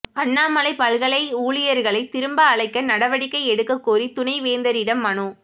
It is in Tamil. அண்ணாமலைப் பல்கலை ஊழியர்களைத் திரும்ப அழைக்க நடவடிக்கை எடுக்கக்கோரி துணைவேந்தரிடம் மனு